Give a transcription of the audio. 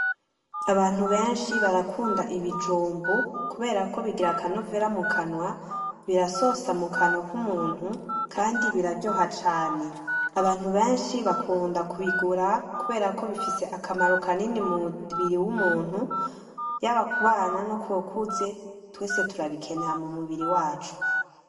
Abantu benshi barakunda ibijumbu kuberako bigira akanovera mukanwa ,birasosa mukanwa k'umuntu kandi biraryoha cane, abantu benshi bakunda kubigura kubera ko bifise akamaro kanini mu mubiri w'umuntu, yaba ku bana no kubakuze twese turabikeneye mu mubiri wacu.